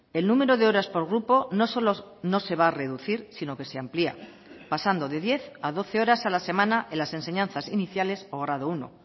el número de horas por grupo no solo no se va a reducir sino que se amplía pasando de diez a doce horas a la semana en las enseñanzas iniciales o grado uno